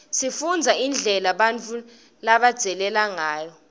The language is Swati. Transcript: sifundza indlela bautfu labadzaleke ngayo